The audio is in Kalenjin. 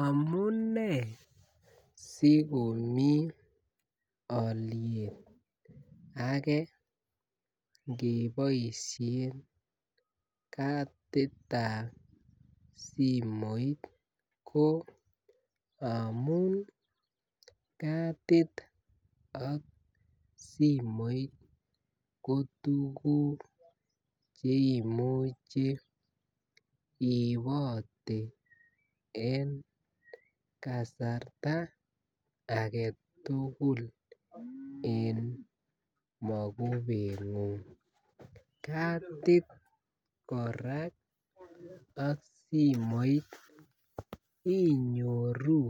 Amunei sikomi aliet age ingebaishen kadit ab simoit amun kadit ak simoit ko tuguk cheimuche iibote en kasarta agetugul en makubet nguung kadit kora ak simoit ngung inyoru